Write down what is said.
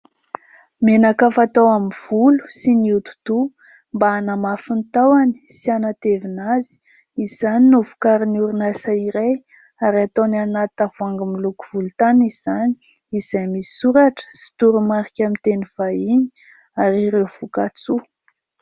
Menaka fatao amin'ny volo sy ny hodi-doha mba hanamafy ny tahony sy hanatevina azy. Izany no vokarin'ny orinasa iray ary ataony any anaty tavoahangy miloko volontany izany izay misy soratra sy toromarika amin'ny teny vahiny ary ireo voka-tsoa.